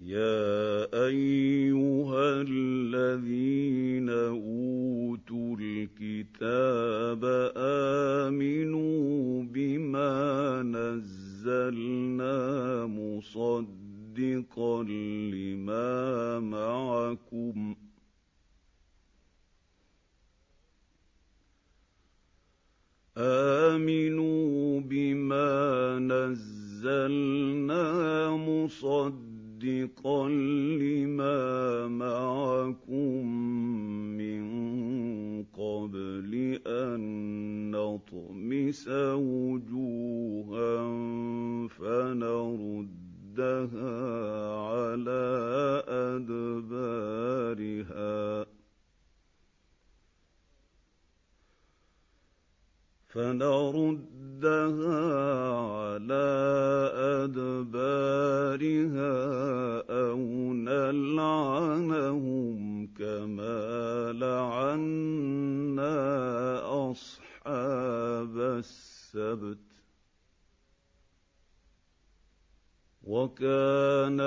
يَا أَيُّهَا الَّذِينَ أُوتُوا الْكِتَابَ آمِنُوا بِمَا نَزَّلْنَا مُصَدِّقًا لِّمَا مَعَكُم مِّن قَبْلِ أَن نَّطْمِسَ وُجُوهًا فَنَرُدَّهَا عَلَىٰ أَدْبَارِهَا أَوْ نَلْعَنَهُمْ كَمَا لَعَنَّا أَصْحَابَ السَّبْتِ ۚ وَكَانَ